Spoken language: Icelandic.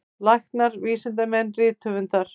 Læknar, vísindamenn, rithöfundar.